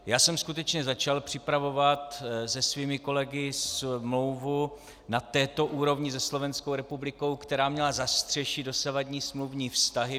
Já jsem skutečně začal připravovat se svými kolegy smlouvu na této úrovni se Slovenskou republikou, která měla zastřešit dosavadní smluvní vztahy.